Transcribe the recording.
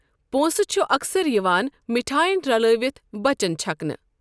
پونٛسہٕ چھِ اکثر یِوان مِٹھاین رلٲوِتھ بَچن چھکنہٕ۔